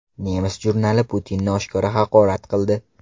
Nemis jurnali Putinni oshkora haqorat qildi.